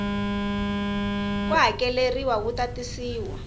ko hakeleriwa wu ta tisiwa